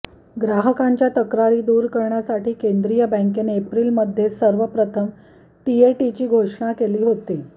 ग्राहकांच्या तक्रारी दूर करण्यासाठी केंद्रीय बँकेने एप्रिलमध्ये सर्वप्रथम टीएटीची घोषणा केली होती